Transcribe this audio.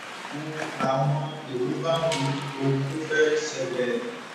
n láwọn èrò bá ń wo ohun tó fẹẹ ṣẹlẹ